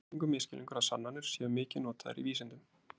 það er algengur misskilningur að sannanir séu mikið notaðar í vísindum